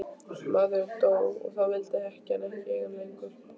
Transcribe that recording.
Maðurinn dó og þá vildi ekkjan ekki eiga hann lengur.